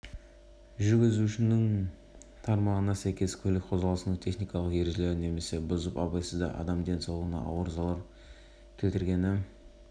айыпкер ретінде жауап берді зардап шеккен жақтан он жасар антон силаевтың анасы анастасия ли сөйледі